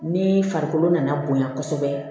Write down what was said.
Ni farikolo nana bonya kosɛbɛ